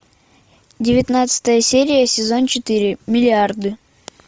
девятнадцатая серия сезон четыре миллиарды